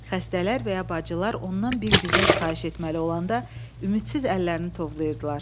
Xəstələr və ya bacılar ondan bir güzəşt xahiş etməli olanda ümidsiz əllərini tovlayırdılar.